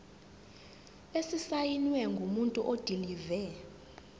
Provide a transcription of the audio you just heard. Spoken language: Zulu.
esisayinwe ngumuntu odilive